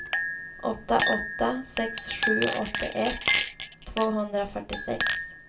åtta åtta sex sju åttioett tvåhundrafyrtiosex